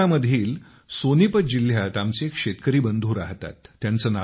हरियाणामधील सोनीपत जिल्ह्यात आमचे एक शेतकरी बंधू राहतात